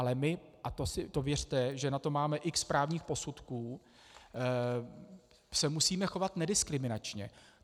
Ale my - a to věřte, že na to máme x právních posudků - se musíme chovat nediskriminačně.